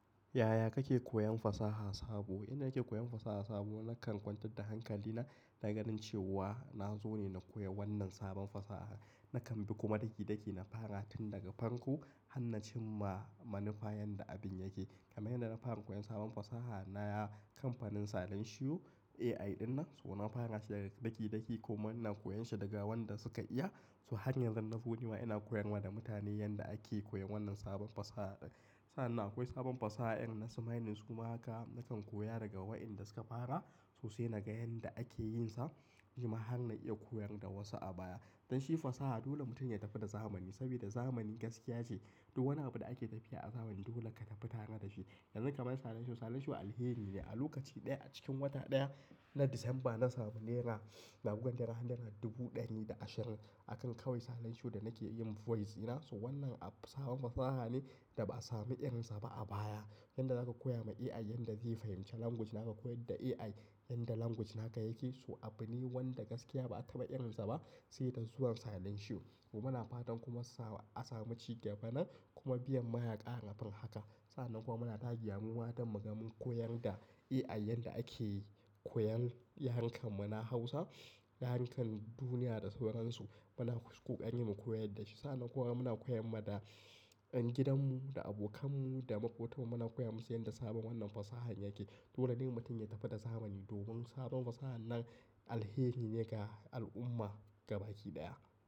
Yaya kake koyan fasaha sabo? Inda nake koyan fasaha sabo, nakan kwantar da hankali na ganin cewa na zo ne na koyi wannan sabon fasaha. Nakan bi kuma daki-daki, na fara tun daga farko, hannacin ma manufa yadda abin yake. Kamar yadda na fara koyan sabon fasaha na yi a kamfanin salon shiyu AI dinnan, so na fara shi daga daki-daki kuma ina koyan shi daga wanda suka iya. So hanyar da na zo ni ma ina koyar ma da mutane yadda ake koyan wannan sabon fasaha ɗin. Sa'an nan akwai sabon fasaha irin na su mining su ma haka, nakan koya daga waɗanda suka fara sosai na ga yadda ake yin sa, shima har na iya koyar da wasu a baya. Don shi fasaha dole mutum ya tafi da zamani, saboda zamani gaskiya ce. Duk wani abu da ake tafiya a zaman dole ka tafi tare da shi. Yanzu kaman salon shiyu, salon shiyu alheri ne. A lokaci ɗaya a cikin wata ɗaya na Disamba na sami naira, na guga naira, naira dubu ɗari da ashirin akan kawai salon shiyu da nake yin voice ina. So wannan abu sabon fasaha ne da ba a sami irinsa ba a baya. Yadda za ka koya ma AI yadda zai fahimci language naka, koyar da AI yadda language naka yake. So abu ne wanda gaskiya ba a taba irinsa ba sai da zuwan salon shiyu. Kuma muna na fatan a samu ci gaba nan kuma biyan mayaƙa harafin haka. Sa'an nan kuma muna dagewa mu ma don mu ga mun koyar da AI yadda ake koyan, yarukan muna Hausa, yarukan duniya da sauransu. Muna kokari mu koyar da shi. Sa'an nan kuma muna koyar ma da, yan gidanmu, da abokanmu, da makotan mu muna koya musu yadda sabon wannan fasaha yake. Dole ne mutum ya tafi da zamani, domin sabon fasaha nan alheri ne ga al'umma gabaki ɗaya.